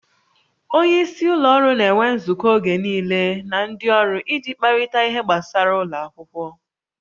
Onye isi ụlọ ọrụ na-enwe nzukọ oge niile na ndị ọrụ iji kparịta ihe gbasara ụlọ akwụkwọ